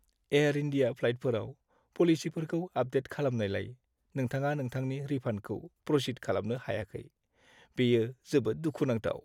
Air India फ्लाइटफोराव पलिसिफोरखौ update खालामनायलाय, नोंथाङा नोंथांनि रिफान्डखौ प्र'सिड खालामनो हायाखै, बेयो जोबोद दुखु नांथाव!